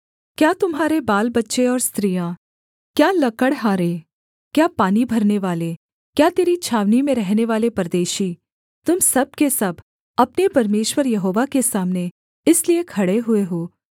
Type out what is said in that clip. क्या तुम्हारे बालबच्चे और स्त्रियाँ क्या लकड़हारे क्या पानी भरनेवाले क्या तेरी छावनी में रहनेवाले परदेशी तुम सब के सब अपने परमेश्वर यहोवा के सामने इसलिए खड़े हुए हो